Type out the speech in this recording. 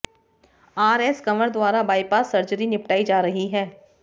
RS Kanwar द्वारा bypass surgery निपटाई जा रही है